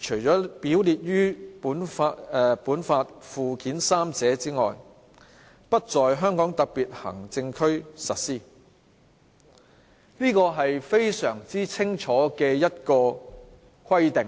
除列於本法附件三者外，不在香港特別行政區實施。"這是非常清楚的規定。